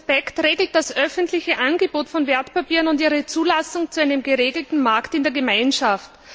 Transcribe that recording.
Der Prospekt regelt das öffentliche Angebot von Wertpapieren und ihre Zulassung zu einem geregelten Markt in der Gemeinschaft.